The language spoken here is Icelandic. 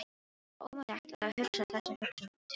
Stefáni var ómögulegt að hugsa þessa hugsun til enda.